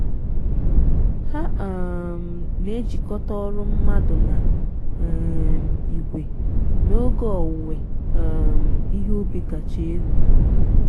ha um na-ejikọta ọrụ mmadụ na um igwe n'oge owuwe um ihe ubi kacha elu.